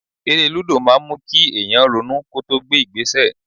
Eré lúdò máa ń mú kí èèyàn ronú kó tó gbé ìgbésẹ̀